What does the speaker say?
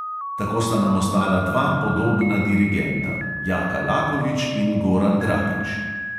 Tako sta nam ostala dva podobna dirigenta, jaka lakovič in goran dragič.